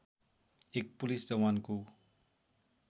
एक पुलिस जवानको